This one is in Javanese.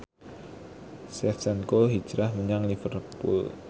Shevchenko hijrah menyang Liverpool